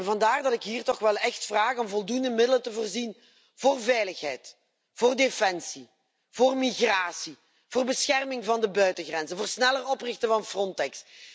Vandaar dat ik hier toch wel echt vraag om voldoende middelen te voorzien voor veiligheid, voor defensie, voor migratie, voor bescherming van de buitengrenzen, voor het sneller oprichten van Frontex.